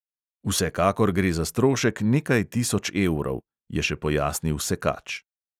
"Vsekakor gre za strošek nekaj tisoč evrov," je še pojasnil sekač.